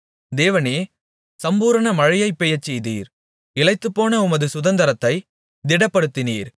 தேவனே சம்பூரண மழையைப் பெய்யச்செய்தீர் இளைத்துப்போன உமது சுதந்தரத்தைத் திடப்படுத்தினீர்